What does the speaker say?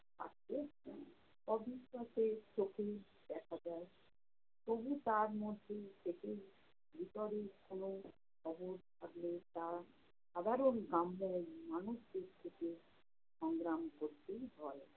অবিশ্বাসের চোখেই দেখা যায়। তবু তার মধ্যে থেকেই ভিতরে কোনো খবর থাকলে তা সাধারণ গ্রাম্য মানুষদের থেকে সংগ্রাম করতেই হয়